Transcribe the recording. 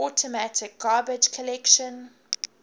automatic garbage collection